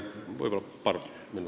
Palun paar minutit juurde!